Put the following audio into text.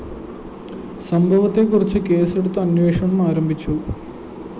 സംഭവത്തെക്കുറിച്ച് കേസെടുത്ത് അന്വേഷണം ആരംഭിച്ചു